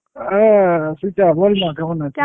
হ্যাঁ চিত্রা বল না কেমন আছো?